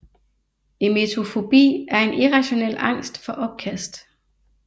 Emetofobi er en irrationel angst for opkast